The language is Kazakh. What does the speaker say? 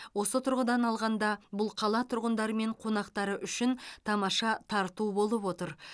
осы тұрғыдан алғанда бұл қала тұрғындары мен қонақтары үшін тамаша тарту болып отыр